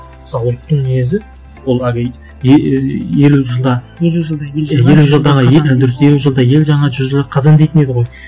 мысалы ұлттың мінезі ол әлгі еее елу жылда елу жылда дұрыс елу жылда ел жаңа жүзі қазан дейтін еді ғой